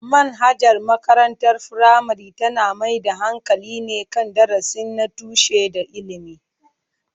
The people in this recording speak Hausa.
Manhajar makarantar firamare tana mai da hankali ne kan darussa na tushe da ilimi.